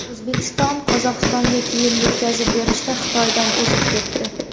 O‘zbekiston Qozog‘istonga kiyim yetkazib berishda Xitoydan o‘zib ketdi.